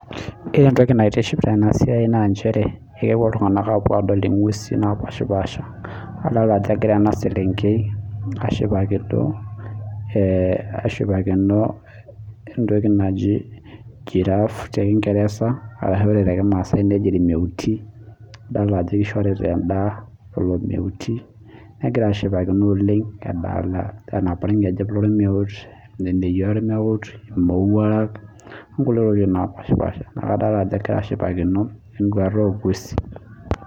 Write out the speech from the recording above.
Ore entoki naitiship Tena siai naa njere kepuo iltung'ana apuo adol eng'usi napashipasha adol Ajo egira ena selenkei ashipakino entokinaji giraffe tee kingereza ashua ore tee kimasai nejia irmeuti adolita Ajo eshorita endaa lelo meuti negira ashipakino oleng enebaa orngejep loo ormeut eneyia ormeut emowuarak onkulie tokitin napashipasha neeku adol Ajo egira ashipakino enduata oo ng'uesi